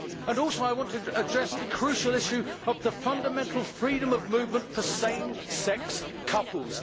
I also want to address the crucial issue of the fundamental freedom of movement for same sex couples.